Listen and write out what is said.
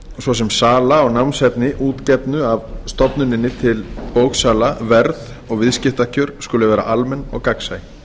svo sem sala á námsefni útgefnu af stofnuninni til bóksala verð og viðskiptakjör skulu vera almenn og gagnsæ